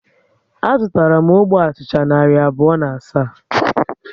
A zụtara m ógbè achịcha narị abụọ na asaa